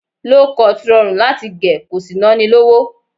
Low cut rọrùn láti gẹ̀ ko sì ná ni lówó